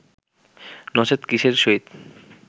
নচেৎ কিসের সহিত